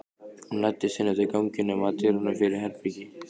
Hún læddist inn eftir ganginum, að dyrunum fyrir herbergi